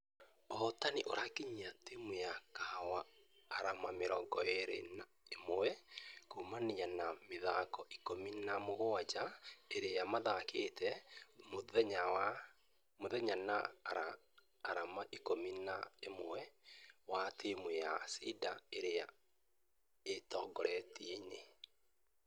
Ũhotani ũyo ũrakinyia timũ ya kahawa arama mĩrongo ĩrĩ na ĩmwe kuumana na mĩthako ikũmi na mũgwaja iria mathakĩte, methutha na arama ikũmi na inya, wa timũ ya cider ĩria e ũtongoriainĩ.